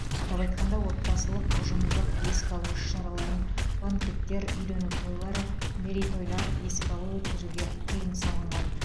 атап айтқанда отбасылық ұжымдық еске алу іс шараларын банкеттер үйлену тойлары мерейтойлар еске алу өткізуге тыйым салынған